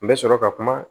N bɛ sɔrɔ ka kuma